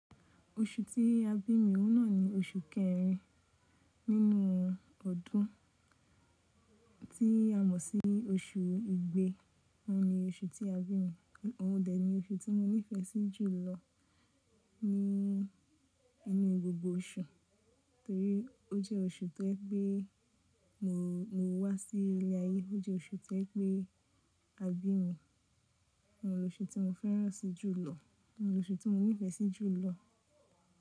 Oṣù tí a bí mi náà ni oṣù kẹrin nínú ọdún tí a mọ̀ sí oṣù igbe. Ó ni oṣù tí a bí mi, ó dẹ̀ ni oṣù tí mo nífẹ̀ẹ́ sí jù lọ ní inú gbogbo oṣù torí ó jẹ́ oṣù tó je pé mo wá sí ilẹ̀ ayé, ó jẹ́ oṣù tó je pé a bí mi. Òun ni oṣù tí mo fẹ́ràn si jù lọ, òun ni oṣù tí mo nífẹ̀ẹ́ sí jù lọ.